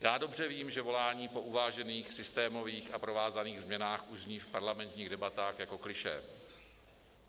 Já dobře vím, že volání po uvážených systémových a provázaných změnách už zní v parlamentních debatách jako klišé.